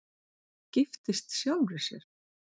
Giftist sjálfri sér